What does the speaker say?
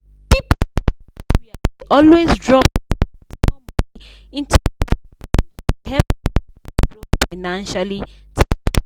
people for the area dey always drop small small money into joint fund to help everybody grow financially together.